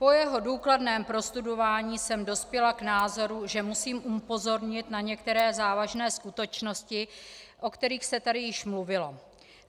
Po jeho důkladném prostudování jsem dospěla k názoru, že musím upozornit na některé závažné skutečnosti, o kterých se tady již mluvilo.